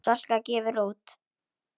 Salka gefur út.